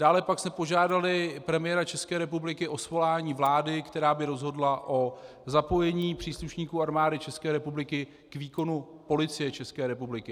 Dále pak jsme požádali premiéra České republiky o svolání vlády, která by rozhodla o zapojení příslušníků Armády České republiky k výkonu Policie České republiky.